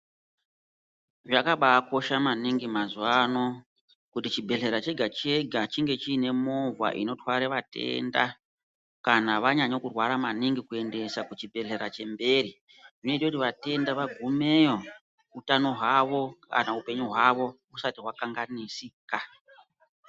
Zvakabaakosha maningi mazuwaano, kuti chibhedhlera chega-chega chinge chiine movha inotware vatenda, kana vanyanye kurwara maningi kuendesa kuchibhedhlera chemberi. Zvinoite kuti vatenda vagumeyo ,utano hwavo ,kana upenyu hwavo ,husati hwakanganisika.